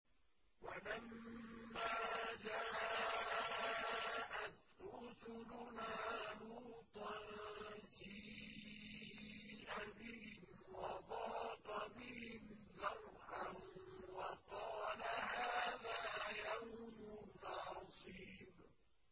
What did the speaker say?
وَلَمَّا جَاءَتْ رُسُلُنَا لُوطًا سِيءَ بِهِمْ وَضَاقَ بِهِمْ ذَرْعًا وَقَالَ هَٰذَا يَوْمٌ عَصِيبٌ